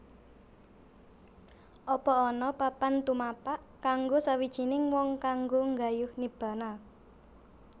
Apa ana papan tumapak kanggo sawijining wong kanggo nggayuh Nibbana